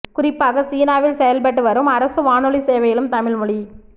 குறிப்பாக சீனாவில் செயல்பட்டு வரும் அரசு வானொலி சேவையிலும் தமிழ் மொழி